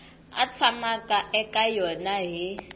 a tshamaka eka yona hi